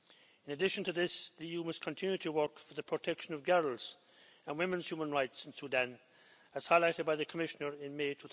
In addition to this, the EU must continue to work for the protection of girls' and women's human rights in Sudan, as highlighted by the Commissioner in May